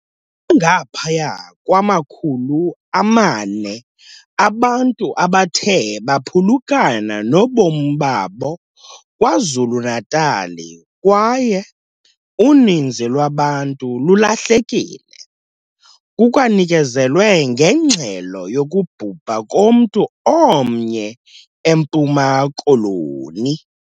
Bangaphaya kwama-400 abantu abathe baphulukana nobomi babo KwaZulu-Natal kwaye uninzi lwabantu lulahlekile. Kukwanikezelwe ngengxelo yokubhubha komntu omnye eMpuma Koloni.